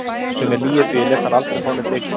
Sem er lygi, því ég lét hana aldrei fá neinn lykil.